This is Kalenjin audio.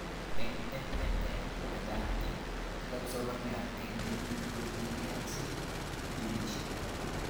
Eng MNA kabetet eng kila kipsomaniat eng kenyit kongetee siling millonishek